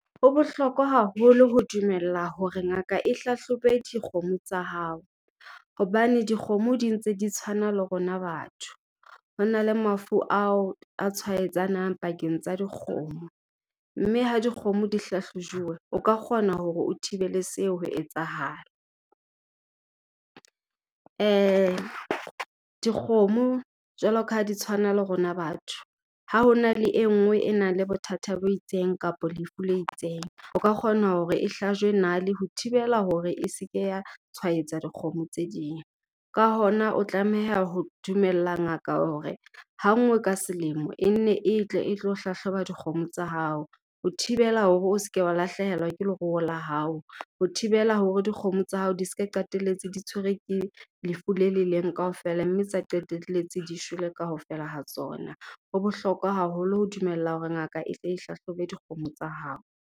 Ho bohlokwa haholo ho dumella hore ngaka e hlahlobe dikgomo tsa hao. Hobane dikgomo di ntse di tshwana le rona batho, ho na le mafu ao a tshwaetsanang pakeng tsa dikgomo. Mme ha dikgomo di hlahlojuwe, o ka kgona hore o thibele seo ho etsahala. Dikgomo, jwalo ka ha di tshwana le rona batho, ha ho na le e nngwe e nang le bothata bo itseng kapa lefu le itseng, o ka kgona hore e hlajwe nale ho thibela hore e se ke ya tshwaetsa dikgomo tse ding. Ka hona o tlameha ho dumella ngaka hore hanngwe ka selemo e ne e tle e tlo hlahloba dikgomo tsa hao, ho thibela hore o se ke wa lahlehelwa ke leruo la hao, ho thibela hore dikgomo tsa hao di se ka qetelletse di tshwerwe ke lefu le le leng kaofela mme tsa qetelletse di shwele kaofela ha tsona. Ho bohlokwa haholo ho dumella hore ngaka e tle hlahlobe dikgomo tsa hao.